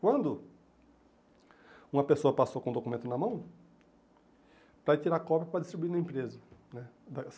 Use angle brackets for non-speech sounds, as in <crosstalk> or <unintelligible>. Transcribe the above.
Quando uma pessoa passou com o documento na mão, para ir tirar cópia para distribuir na empresa, né? <unintelligible>